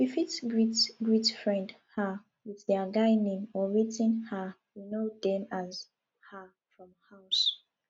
we fit greet greet friend um with their guy name or wetin um we know dem as um from house